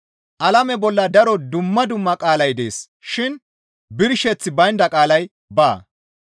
Alame bolla daro dumma dumma qaalay dees shin birsheththi baynda qaalay baa.